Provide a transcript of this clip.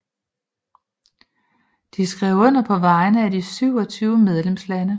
De tre skrev under på vegne af de 27 medlemslande